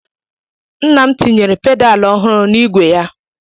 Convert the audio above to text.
Nna m tinyere pedaal ọhụụ na-igwe ya.